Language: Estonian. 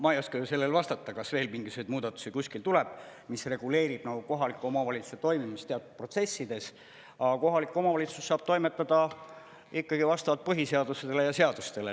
Ma ei oska sellele vastata, kas veel mingisuguseid muudatusi kuskil tuleb, mis reguleerib kohaliku omavalitsuse toimimist teatud protsessides, aga kohalik omavalitsus saab toimetada ikkagi vastavalt põhiseadusele ja seadustele.